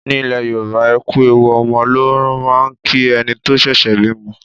Ní ilẹ̀ Yorùbá, ẹ kú ewu ọmọ ló máà ń kí ẹni tó ṣẹ̀ṣẹ̀ bímọ.